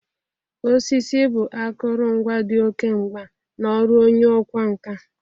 Osisi bụ akụrụngwa dị oke mgba n'ọrụ onye ọkwa nka.